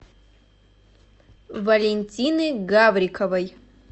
валентины гавриковой